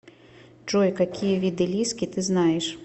джой какие виды лиски ты знаешь